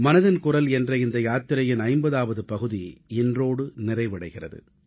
மனதின் குரல் என்ற இந்த யாத்திரையின் 50ஆவது பகுதி இன்றோடு நிறைவடைகிறது